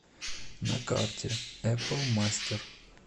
на карте эпл мастер